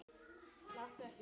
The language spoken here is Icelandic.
Láttu ekki svona